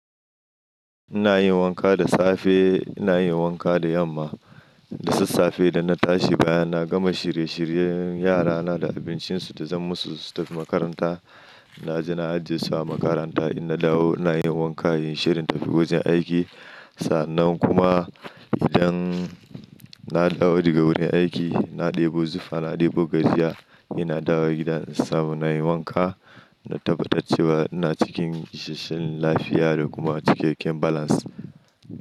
Ina yin wanka da safe, ina yin wanka da yamma. Da sassafe da na tashi bayan na gama shirye shiryen yara na da abincin su da zan musu su tafi makaranta. Na ji na ajiye su a makaranta ina dawo ina yin wanka, inyi shirin in tafi wajan aiki. Sannan kuma idan na dawo daga wurin aiki, na ɗebo zuffa, na ɗebo gashiya ina dawo gida in samu na yi wanka, na tabbatar cewa ina cikin isheshshen lafiya da kuma cikakken balance.